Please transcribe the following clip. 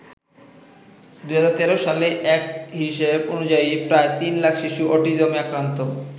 ২০১৩ সালের এক হিসেব অনুযায়ী প্রায় ৩ লাখ শিশু অটিজমে আক্রান্ত।